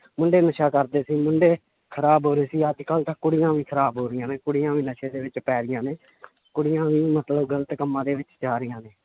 ਮੁੰਡੇ ਨਸ਼ਾ ਕਰਦੇ ਸੀ ਮੁੰਡੇ ਖ਼ਰਾਬ ਹੋ ਰਹੇ ਸੀ ਅੱਜ ਕੱਲ੍ਹ ਤਾਂ ਕੁੜੀਆਂ ਵੀ ਖ਼ਰਾਬ ਹੋ ਰਹੀਆਂ ਨੇ ਕੁੜੀਆਂ ਵੀ ਨਸ਼ੇ ਦੇ ਵਿੱਚ ਪੈ ਗਈਆਂਂ ਨੇ ਕੁੜੀਆਂ ਵੀ ਮਤਲਬ ਗ਼ਲਤ ਕੰਮਾਂ ਦੇ ਵਿੱਚ ਜਾ ਰਹੀਆਂ ਨੇ,